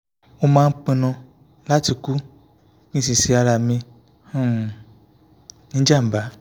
mo máa ń pinnu láti kú kí n sì ṣe ara mi um ní jàǹbá